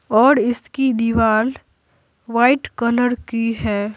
और इसकी दीवार वाइट कलर की है।